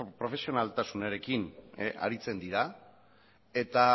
profesionaltasunarekin aritzen dira eta